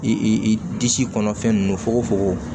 I disi kɔnɔfɛn ninnu fogofogo